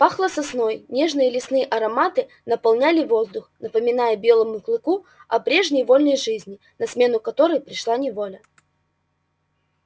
пахло сосной нежные лесные ароматы наполняли воздух напоминая белому клыку о прежней вольной жизни на смену которой пришла неволя